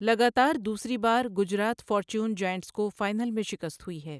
لگاتار دوسری بار گجرات فارچیون جائنٹس کو فائنل میں شکست ہوئی ہے۔